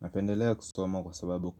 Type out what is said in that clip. Napendelea kusoma kwa sababu